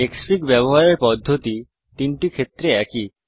ক্সফিগ ব্যবহারের পদ্ধতি তিনটি ক্ষেত্রে একই